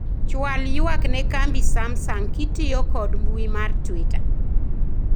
chwal ywak ne kambi samsung kitiyo kod mbui mar twita